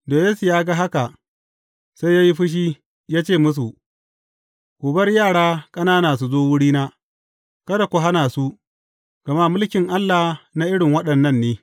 Da Yesu ya ga haka, sai ya yi fushi, ya ce musu, Ku bar yara ƙanana su zo wurina, kada ku hana su, gama mulkin Allah na irin waɗannan ne.